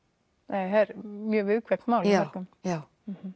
er mjög viðkvæmt mál hjá mörgum já